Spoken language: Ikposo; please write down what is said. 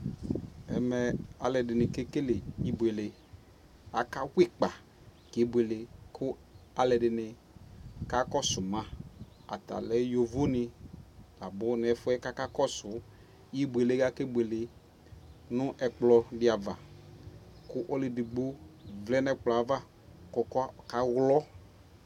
Ɛmɛ aluɛdini, kekele ibuele Akawa ikpa kebuele Ku aluɛdini kakɔsuma aatalɛ yovoni labunɛsuɛ kakakɔsu ibuuele kakebule nu ɛkplɔdi avaa Ku ɔluɛdigbo vlɛ nu ɛkplɔɛ aava Ku ɔkaŋlɔ